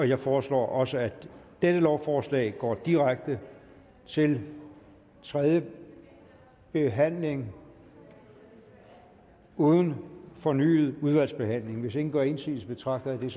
jeg foreslår at også dette lovforslag går direkte til tredje behandling uden fornyet udvalgsbehandling hvis ingen gør indsigelse betragter jeg